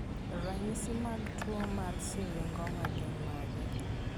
Ranyisi mag tuwo mar Syringoma gin mage?